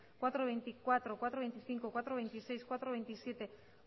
cuatro punto veinticuatro cuatro punto veinticinco cuatro punto veintiséis cuatro punto veintisiete